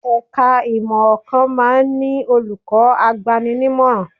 Ẹ̀ka ìmọ̀ ̀ọ̀kan máa ń ní olùkọ́ agbani-nímọ̀ràn